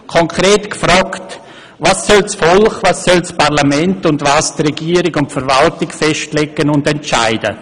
Konkret gefragt: Was soll das Volk, was soll das Parlament und was die Regierung und die Verwaltung festlegen und entscheiden?